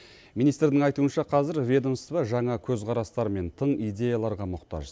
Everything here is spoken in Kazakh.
министрдің айтуынша қазір ведомство жаңа көзқарастар мен тың идеяларға мұқтаж